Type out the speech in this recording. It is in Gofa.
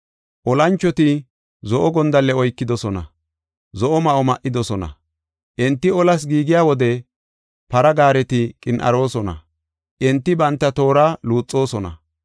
Olanchoti zo7o gondalle oykidosona; zo7o ma7o ma77idosona. Enti olas giigiya wode para gaareti qin7aarosona; enti banta toora luuxoosona.